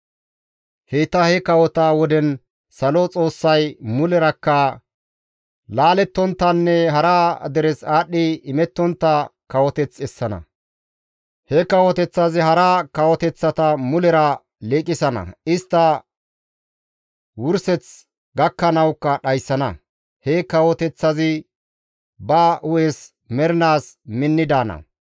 «Heyta he kawota woden salo Xoossay mulerakka laalettonttanne hara deres aadhdhi imettontta kawoteth essana; he kawoteththazi hara kawoteththata mulera liiqisana; istta wurseth gakkanawukka dhayssana; he kawoteththazi ba hu7es mernaas minni daana.